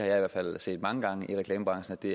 i hvert fald set mange gange i reklamebranchen at det